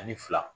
Ani fila